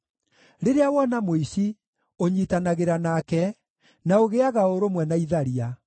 Rĩrĩa wona mũici, ũnyiitanagĩra nake; na ũgĩĩaga ũrũmwe na itharia.